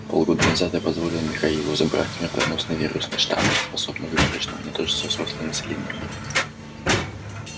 полгода назад я позволил михаилу забрать смертоносный вирусный штамм способный выборочно уничтожить всё взрослое население мира